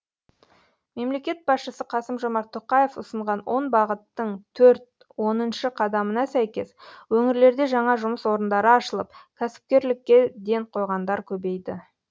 мемлекет басшысы қасым жомарт тоқаев ұсынған он бағыттың төрт оныншы қадамына сәйкес өңірлерде жаңа жұмыс орындары ашылып кәсіпкерлікке ден қойғандар көбейді